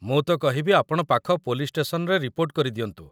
ମୁଁ ତ କହିବି ଆପଣ ପାଖ ପୋଲିସ୍‌ ଷ୍ଟେସନ୍‌ରେ ରିପୋର୍ଟ କରିଦିଅନ୍ତୁ।